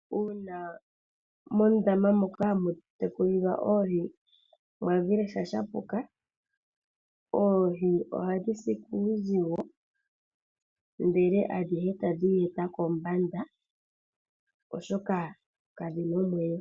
Uuna mondama moka hamu tekulilwa oohi mwayi sha shapuka , oohi ohadhi si kuuzigo , ndele adhihe tadhi yeta kombanda oshoka kadhina omwenyo.